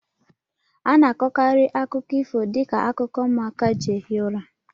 A na-akọkarị akụkọ ifo dị ka akụkọ ụmụaka ji ehi ụra